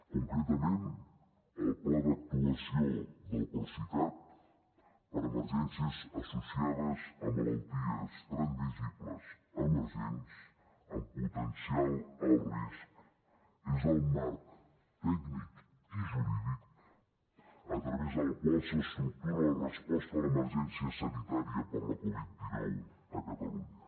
concretament el pla d’actuació del procicat per emergències associades a malalties transmissibles emergents amb potencial alt risc és el marc tècnic i jurídic a través del qual s’estructura la resposta a l’emergència sanitària per la covid dinou a catalunya